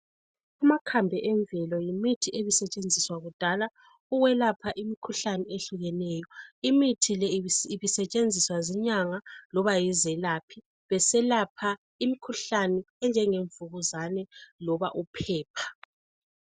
Amakhambi emvelo yimithi ebisetshenziswa kudakla ukwelapha imikhuhlane eyehlukeneyo. Imithi le ibisetshenziswa zinyanga loba yizelaphi. Beselapha imkhuhlani enjengemvukuzane loba uphepha.